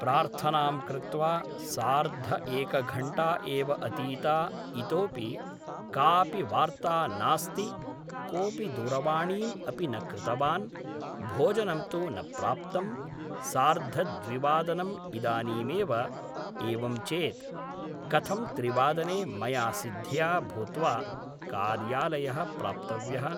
प्रार्थनां कृत्वा सार्ध एकघण्टा एव अतीता इतोपि काऽपि वार्ता नास्ति कोऽपि दूरवाणीम् अपि न कृतवान् भोजनं तु न प्राप्तं सार्धद्विवादनम् इदानीमेव एवञ्चेत् कथं त्रिवादने मया सिद्धया भूत्वा कार्यालयः प्राप्तव्यः